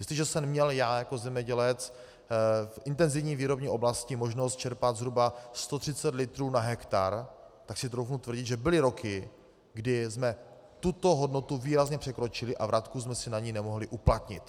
Jestliže jsem měl já jako zemědělec v intenzivní výrobní oblasti možnost čerpat zhruba 130 litrů na hektar, tak si troufnu tvrdit, že byly roky, kdy jsme tuto hodnotu výrazně překročili a vratku jsme si na ni nemohli uplatnit.